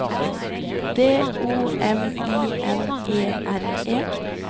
D O M I N E R E